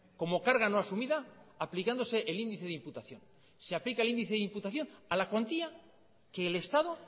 como carga no asumida aplicándose el índice de imputación se aplica el índice de imputación a la cuantía que el estado